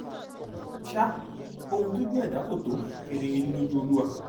sa ohun tí ojú ẹdá kó tó kedere ní lójú olúwa